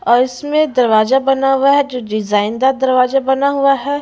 और इसमें दरवाजा बना हुआ है जो डिजाइनदर दरवाजा बना हुआ है।